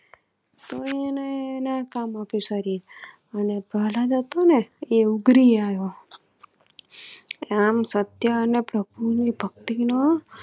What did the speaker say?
તોય એને એના કામ માં આમ સત્ય અને પ્રભુ ની ભક્તિ નો